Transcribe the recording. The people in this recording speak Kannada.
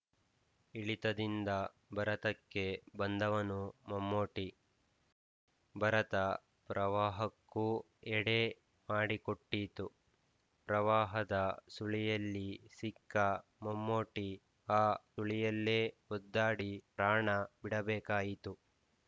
ಇಳಿತದಿಂದ ಭರತಕ್ಕೆ ಬಂದವನು ಮಮ್ಮೂಟಿ ಭರತ ಪ್ರವಾಹಕ್ಕೂ ಎಡೆ ಮಾಡಿ ಕೊಟ್ಟಿತು ಪ್ರವಾಹದ ಸುಳಿಯಲ್ಲಿ ಸಿಕ್ಕ ಮಮ್ಮೂಟಿ ಆ ಸುಳಿಯಲ್ಲೇ ಒದ್ದಾಡಿ ಪ್ರಾಣ ಬಿಡಬೇಕಾಯಿತು